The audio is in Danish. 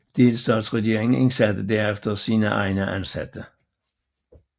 Delstatsregeringen indsatte derefter sine egne ansatte